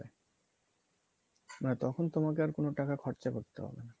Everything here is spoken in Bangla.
মানে তখন তোমাকে র কোনো টাকা খরচা করতে হবে না